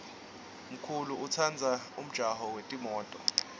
mkulu utsandza umjaho yetimto